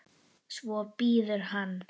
Svo bíður hann.